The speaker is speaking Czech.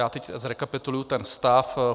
Já teď zrekapituluji ten stav.